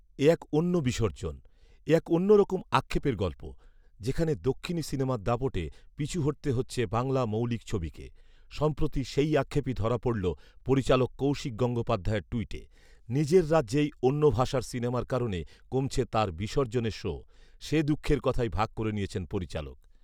এ এক অন্য বিসর্জন৷ এ এক অন্যরকম আক্ষেপের গল্প৷ যেখানে দক্ষিণী সিনেমার দাপটে পিছু হটতে হচ্ছে বাংলা মৌলিক ছবিকে৷ সম্প্রতি সেই আক্ষেপই ধরা পড়ল পরিচালক কৌশিক গঙ্গোপাধ্যায়ের টুইটে৷ নিজের রাজ্যেই অন্য ভাষার সিনেমার কারণে কমছে তাঁর বিসর্জনের শো৷ সে দুঃখের কথাই ভাগ করে নিয়েছেন পরিচালক৷